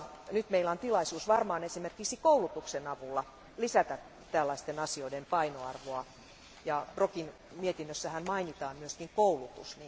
Nyt meillä on tilaisuus esimerkiksi koulutuksen avulla lisätä tällaisten asioiden painoarvoa ja Brokin mietinnössähän mainitaan myös koulutus.